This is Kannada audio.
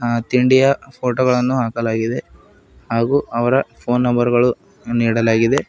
ಹಾ ತಿಂಡಿಯ ಫೋಟೋ ಗಳನ್ನು ಹಾಕಲಾಗಿದೆ ಹಾಗು ಅವರ ಫೋನ್ ನಂಬರ್ ಗಳು ನೀಡಲಾಗಿದೆ.